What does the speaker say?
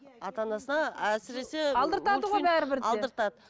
ата анасына әсіресе алдыртады ғой бәрібір де алдыртады